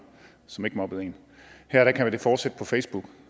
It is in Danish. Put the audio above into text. som ikke mobbede en her kan det fortsætte på facebook